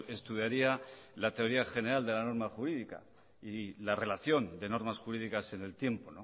estudiaría la teoría general de la norma jurídica y la relación de normas jurídicas en el tiempo